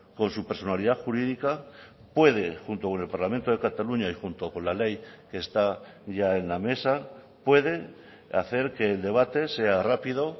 con su personalidad jurídica puede junto con el parlamento de cataluña y junto con la ley que está ya en la mesa pueden hacer que el debate sea rápido